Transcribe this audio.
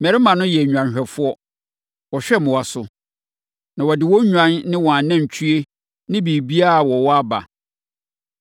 Mmarima no yɛ nnwanhwɛfoɔ. Wɔhwɛ mmoa so. Na wɔde wɔn nnwan ne wɔn anantwie ne biribiara a wɔwɔ aba.’